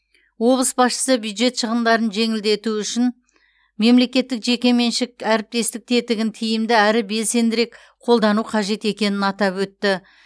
облыс басшысы бюджет шығындарын жеңілдету үшін мемлекеттік жекеменшік әріптестік тетігін тиімді әрі белсендірек қолдану қажет екенін атап өтті